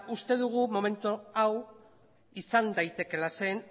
uste dugu momentu hau izan daitekeela zeren